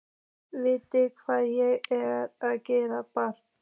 Hvað viltu að ég geri, barn?